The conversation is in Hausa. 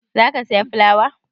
Za ka saya fulawa?